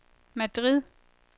Madrid